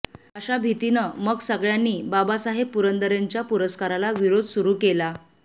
अशा भीतीनं मग सगळ्यांनी बाबासाहेब पुरंदरेंच्या पुरस्काराला विरोध सुरू केला